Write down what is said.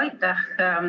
Aitäh!